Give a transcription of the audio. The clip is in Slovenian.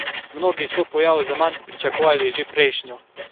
Mnogi so pojav zaman pričakovali že prejšnjo.